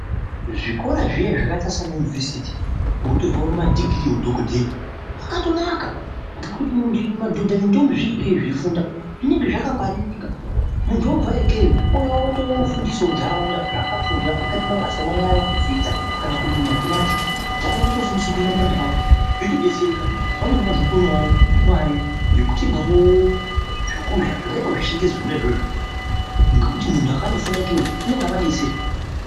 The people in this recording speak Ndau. Zvikora zviya zvakaita saana yunivhesiti kootorwa ma dhigirii eudhokodheya kwakatonaka. Ngekuti madhodha nendombi zviri ikeyo zveifunda zvinenge zvakangwaririka. Muntu oobvayo ikeyo ouya otofundisawo ntaraunda zvaakafunda, ungaite mabasa emanyara kudzidza, kana kurima matimati. Ntaraunda yotofundiswa kurima matimati yotodetsereka. Vamweni vantu votoonawo mare yekutengawo zvokurya zvakaitawo zvechingezi zvona izvozvo. Ngekuti muntu wakandofunda ikeyo unenge avadetsera.